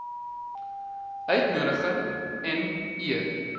uitnodiging m eer